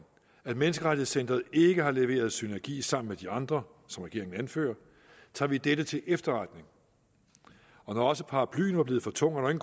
at menneskerettighedscenteret ikke har leveret synergi sammen med de andre som regeringen anfører tager vi dette til efterretning og når også paraplyen var blevet for tung er